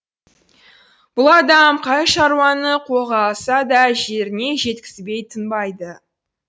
бұл адам қай шаруаны қолға алса да жеріне жеткізбей тынбайды